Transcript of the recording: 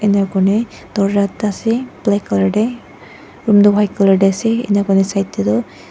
enikurna dorza ekta ase black colour tae room tu white colour tae ase enakurna side tae tu--